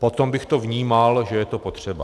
Potom bych to vnímal, že je to potřeba.